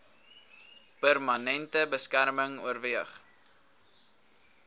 permanente beskerming oorweeg